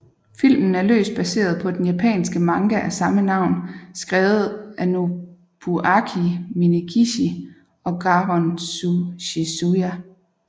Filmen er løst baseret på den japanske manga af samme navn skrevet af Nobuaki Minegishi og Garon Tsuchiya